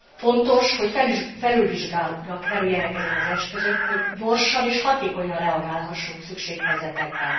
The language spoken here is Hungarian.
Fontos, hogy felülvizsgálatra kerüljenek ezek az eszközök, hogy gyorsan és hatékonyan reagálhassunk szükséghelyzetekben.